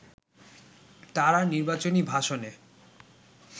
তারা নির্বাচনী ভাষণে